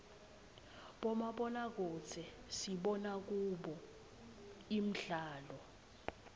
bomabonakudze sibona kubo imdlalo